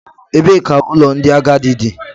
Ebee ka ụlọ ndị agadi dị?